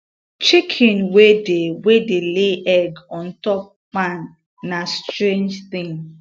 chicken wey dey wey dey lay egg on top pan na strange thing